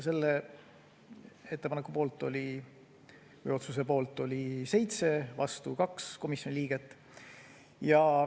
Selle otsuse poolt oli 7, vastu 2 komisjoni liiget.